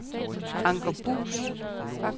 Anker Buus